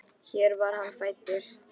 Hér var hann fæddur.